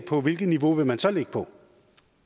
for hvilket niveau man så vil ligge på